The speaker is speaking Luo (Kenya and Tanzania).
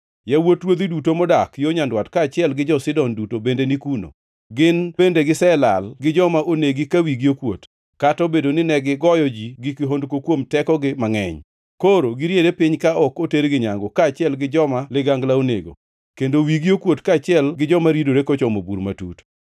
“Yawuot ruodhi duto modak yo nyandwat kaachiel gi jo-Sidon duto bende ni kuno. Gin bende giselal gi joma onegi ka wigi okuot, kata obedo ni negigoyo ji gi kihondko kuom tekogi mangʼeny. Koro giriere piny ka ok otergi nyangu, kaachiel gi joma ligangla onego, kendo wigi okuot kaachiel gi joma ridore kochomo bur matut.